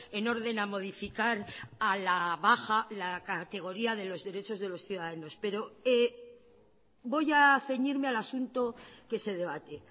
en orden a modificar a la baja la categoría de los derechos de los ciudadanos pero voy a ceñirme al asunto que se debate